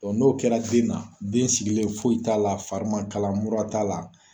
Bɔn n'o kɛra den na, den sigilenna foyi t'a la, fari man kala mura t'a la.